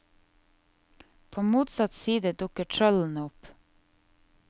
På motsatt side dukker trollene opp.